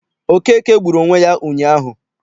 Okeke gburu onwe ya ụnyaahụ.